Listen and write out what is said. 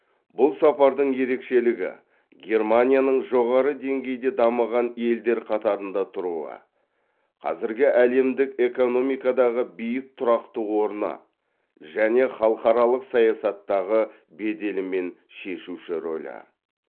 бұл сапардың ерекшелігі германияның жоғары деңгейде дамыған елдер қатарында тұруы қазіргі әлемдік экономикадағы биік тұрақты орны және халықаралық саясаттағы беделі мен шешуші рөлі